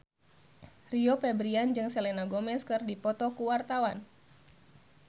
Rio Febrian jeung Selena Gomez keur dipoto ku wartawan